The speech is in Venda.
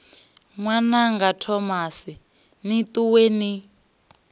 ṅwananga thomani ni ṱuwe ni